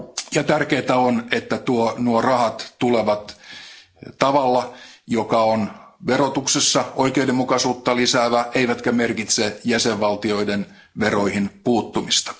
Ja tärkeintä on, että nuo rahat tulevat tavalla, joka on verotuksessa oikeudenmukaisuutta lisäävä, eivätkä ne merkitse jäsenvaltioiden veroihin puuttumista.